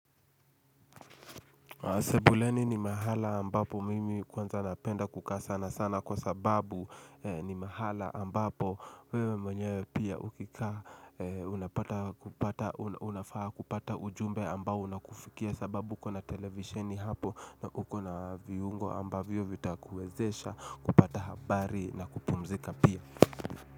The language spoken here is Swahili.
Sebuleni ni mahala ambapo mimi kwanza napenda kukaa sana sana kwa sababu ni mahala ambapo wewe mwenyewe pia ukikaa unafaa kupata ujumbe ambao unakufikia sababu ukona televisioni hapo na uko na viungo ambavyo vitakuwezesha kupata habari na kupumzika pia.